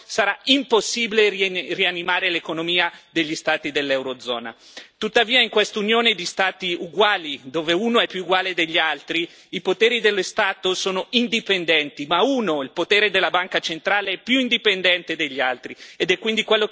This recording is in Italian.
Tuttavia in questa Unione di Stati uguali, dove uno è più uguale degli altri, i poteri dello Stato sono indipendenti ma uno, il potere della Banca centrale, è più indipendente degli altri ed è quindi quello che effettivamente comanda, facendo e disfacendo governi fantoccio a piacere.